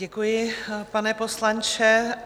Děkuji, pane poslanče.